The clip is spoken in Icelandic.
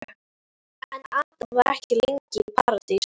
En Adam var ekki lengi í Paradís.